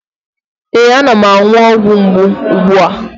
Ee, ana m aṅụ ọgwụ mgbu ugbu a.